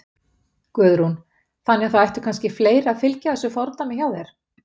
Guðrún: Þannig að það ættu kannski fleiri að fylgja þessu fordæmi hjá þér?